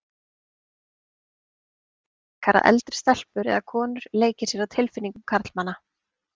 Það er miklu frekar að eldri stelpur eða konur leiki sér að tilfinningum karlmanna.